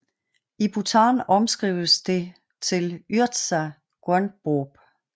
I Bhutan omskrives det til yartsa guenboob